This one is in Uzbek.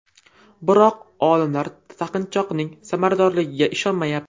Biroq olimlar taqinchoqning samaradorligiga ishonmayapti.